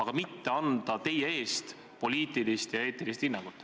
See võitlus, mida meie peame, mida mina pean, on võitlus õigluse eest.